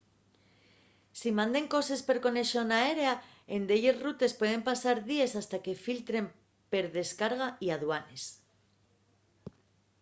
si manden coses per conexón aérea en delles rutes pueden pasar díes hasta que filtren per descarga y aduanes